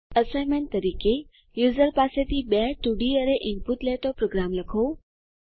assignment તરીકે user પાસેથી બે 2ડી અરે ઈનપુટ લેતો પ્રોગ્રામ લખો